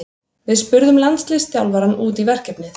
Við spurðum landsliðsþjálfarann út í verkefnið.